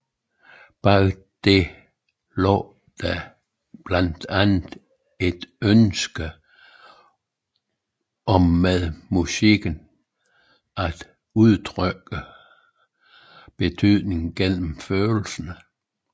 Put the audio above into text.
Bag det lå der blandt andet et ønske om med musikken at udtrykke betydninger gennem følelsen